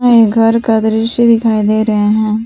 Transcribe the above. नए घर का दृश्य दिखाई दे रहे हैं।